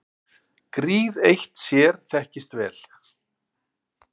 Gríð eitt sér þekkist vel.